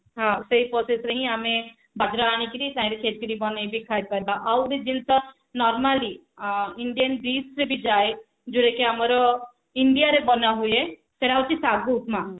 ହଁ ସେଇ process ରେ ହିଁ ଆମେ ବଜରା ଆଣିକିରି ଚାହିଁଲେ ଛେଚିଡି ବନେଇକିରି ଖାଇପାରିବା ଆଉ ଗୋଟେ ଜିନିଷ normally ଅ Indian dish ଯଦି ଯାଏ ଯୋଉଟା କି ଆମର India ରେ ବନାହୁଏ ସେଟ ହଉଛି ସାଗୁ ଉପମା